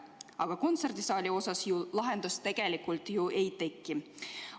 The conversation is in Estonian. Aga kontserdisaali jaoks ju lahendust tegelikult ei teki.